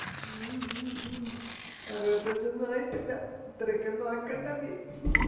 അറുപത്തഞ്ചോന്നുമായിട്ടില്ല ഇത്രയൊക്കെന്നുമാകണ്ട നീ